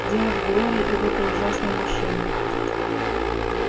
дело в глории и в этой ужасной машине